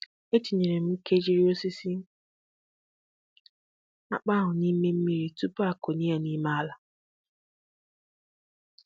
E tinyere m nkejiri osisi akpụ ahụ n'ime mmírí tupu a kọnye ya n'ime ala